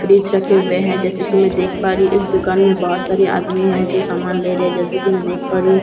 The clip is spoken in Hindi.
फ्रिज रखे हुए है जैसे कि मैं देख पा रही इस दुकान में बहोत सारी आदमी हैं जो समान ले रहे जैसे कि मैं देख पा रही हूँ।